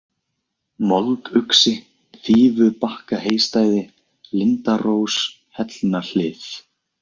Molduxi, Fífubakkaheystæði, Lindarós, Hellnahlið